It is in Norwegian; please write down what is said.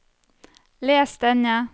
les denne